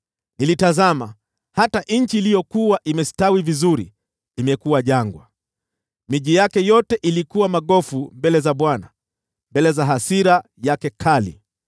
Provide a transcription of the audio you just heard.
Nilitazama, hata nchi iliyokuwa imestawi vizuri imekuwa jangwa, miji yake yote ilikuwa magofu mbele za Bwana , mbele ya hasira yake kali.